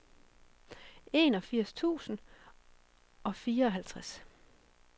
enogfirs tusind og fireoghalvtreds